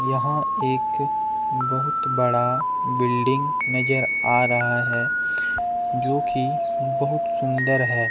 यहां एक बहुत बड़ा बिल्डिंग नजर आ रहा है जो कि बहुत सुंदर है।